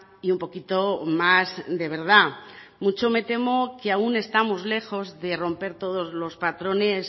y un poquito más de verdad mucho me temo que aún estamos lejos de romper todos los patrones